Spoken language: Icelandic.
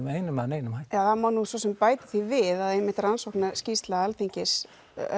með einum né neinum hætti það má alveg bæta því við að í rannsóknarskýrslu Alþingis